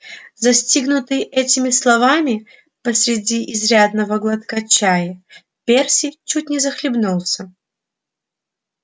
застигнутый этими словами посреди изрядного глотка чая перси чуть не захлебнулся